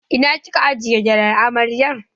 Ina kika aje gyalen amaryar?